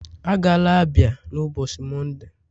Agala Abia n'ụbọchị Mọnde!.